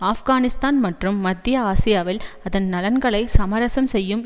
ஆப்கானிஸ்தான் மற்றும் மத்திய ஆசியாவில் அதன் நலன்களை சமரசம் செய்யும்